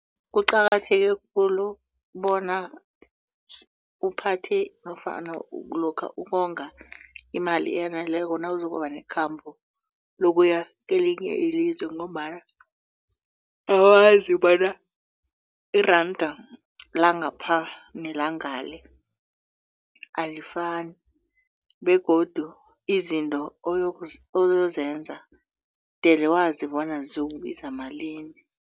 Kuqakatheke khulu bona uphathe nofana lokha ukonga imali eyaneleko nawuzokuba nekhamba lokuya kelinye ilizwe ngombana awazi bona iranda langapha nelangale alifani begodu izinto oyozenza mdele wazi bona ziyokubiza malini.